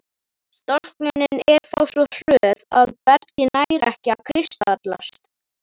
Storknunin er þá svo hröð að bergið nær ekki að kristallast.